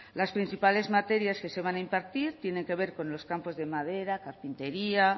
las principales materias que se van a impartir tienen que ver con los campos de madera carpintería